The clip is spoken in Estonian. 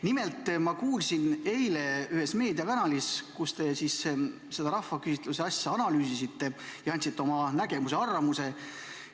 Nimelt, ma kuulsin eile, kui te ühes meediakanalis seda rahvaküsitluse asja analüüsisite ja andsite oma nägemuse-arvamuse.